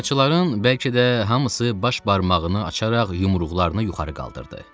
Tamaşaçıların bəlkə də hamısı baş barmağını açaraq yumruqlarını yuxarı qaldırdı.